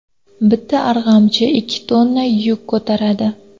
Bitta arg‘amchi ikki tonna yuk ko‘taradi.